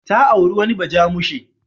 Ta auri wani bajamushe.